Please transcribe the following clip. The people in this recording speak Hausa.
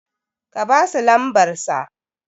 ka basu lamsbarsa